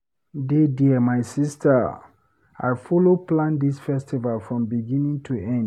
Dey there my sister, I follow plan dis festival from beginning to end.